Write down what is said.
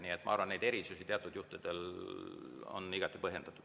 Nii et ma arvan, et need erisused teatud juhtudel on igati põhjendatud.